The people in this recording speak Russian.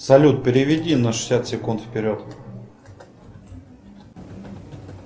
салют переведи на шестьдесят секунд вперед